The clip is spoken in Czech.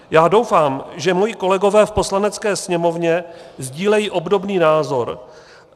Já doufám, že moji kolegové v Poslanecké sněmovně sdílejí obdobný názor.